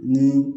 Ni